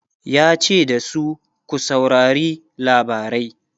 yace da su "ku saurari labarai!